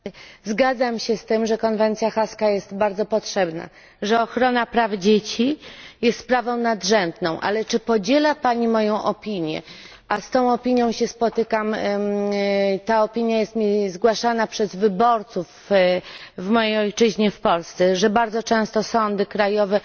Pani Przewodnicząca! Zgadzam się z tym, że konwencja haska jest bardzo potrzebna, że ochrona praw dzieci jest sprawą nadrzędną, ale czy podziela pani moją opinię a z tą opinią się spotykam i jest mi ona zgłaszana przez wyborców w mojej ojczyźnie w Polsce że bardzo często sądy krajowe